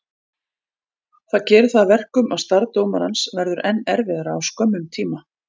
Það gerir það að verkum að starf dómarans verður enn erfiðara á skömmum tíma.